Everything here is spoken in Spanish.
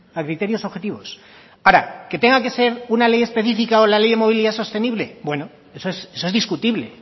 a criterios objetivos ahora que tenga que ser una ley específica o la ley de movilidad sostenible bueno eso es discutible